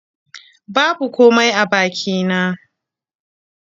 Babu komai a bakina